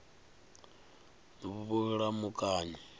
vhulamukanyi